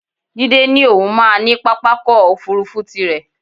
Jídé ní òun máa ní pápákọ̀ òfuurufú tirẹ̀